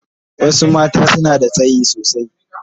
Wasu mata suna da tsayi sosai.